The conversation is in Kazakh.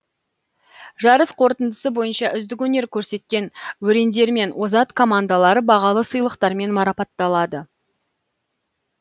жарыс қорытындысы бойынша үздік өнер көрсеткен өрендер мен озат командалар бағалы сыйлықтармен марапатталады